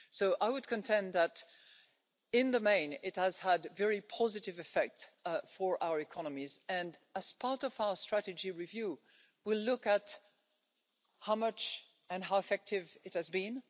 So I would contend that, in the main, it has had a very positive effect on our economies, and as part of our strategy review, we'll look at how much and how effective it has been.